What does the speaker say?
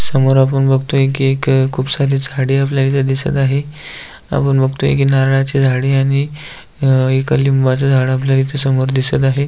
समोर आपण बघतोय एक की खूप सारी झाडे आपल्याला इथ दिसत आहे आपण बघतोय की नारळाची झाडे आणि अ एक लिंबाच झाड आपल्याला इथ समोर दिसत आहे.